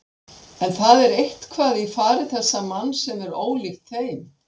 En það er eitthvað í fari þessa manns sem er ólíkt þeim.